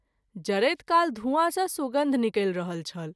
जरैत काल धूआँ सँ सुगन्ध निकलि रहल छल।